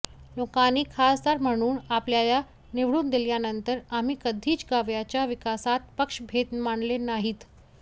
लोकांनी खासदार म्हणून आपल्याला निवडून दिल्यानंतर आम्ही कधीच गावच्या विकासात पक्षभेद मानले नाहीत